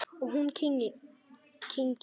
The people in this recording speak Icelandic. Og hún kyngir.